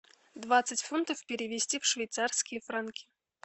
двадцать фунтов перевести в швейцарские франки